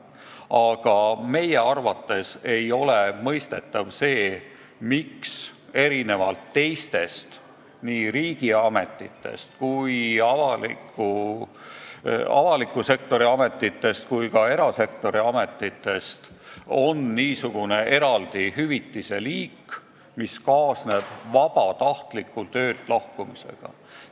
Aga meie arvates ei ole mõistetav, miks erinevalt teistest riigiametitest ehk avaliku sektori ametitest ja ka erasektori ametitest on niisugune eraldi hüvitise liik, mis kaasneb vabatahtliku töölt lahkumisega.